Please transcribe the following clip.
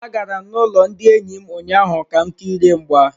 Agara m n'ụlọ ndị enyi m ụnyaahụ ka m kirie mgba.